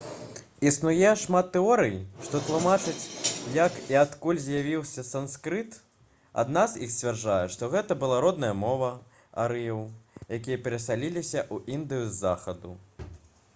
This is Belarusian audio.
існуе шмат тэорый што тлумачаць як і адкуль з'явіўся санскрыт адна з іх сцвярджае што гэта была родная мова арыеў якія перасяліліся ў індыю з захаду